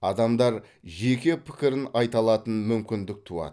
адамдар жеке пікірін айта алатын мүмкіндік туады